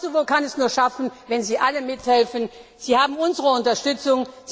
Und Kosovo kann es nur schaffen, wenn Sie alle mithelfen. Sie haben unsere Unterstützung.